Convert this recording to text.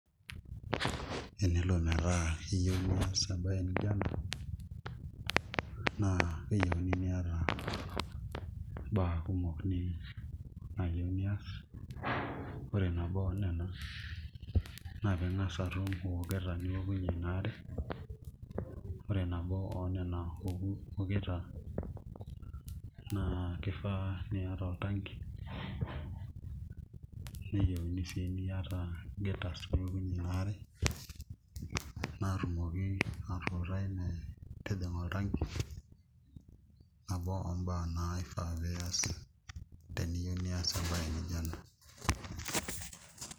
Enelo metaa iyieu nias embaye nijio ena naa keyieuni niata mbaa kumok niyieu niaas ore nabo oonena naa piing'as aaku iata ioketa niokunyie ina are, ore nabo oonena oketa naa kifaa niata oltanki neyieuni sii niata gutters pee iokunyie ina are naatumoki aatuutai metijiinga oltanki nabo ombaa naifaa pee iaas teniyieu nias emabye nijio ena.